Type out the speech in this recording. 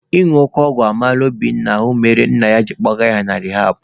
Ịñụ oke ọgwụ mara Obinna ahụ nke mere na nna ya kpọgara ya na rihabụ.